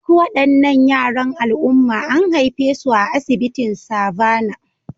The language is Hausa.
Duk waɗannan yaran al'umma an haife su a asibitin Savannah